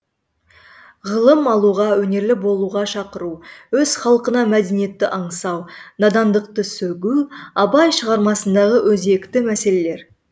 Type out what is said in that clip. ғылым алуға өнерлі болуға шақыру өз халқына мәдениетті аңсау надандықты сөгу абай шығармасындағы өзекті мәселелер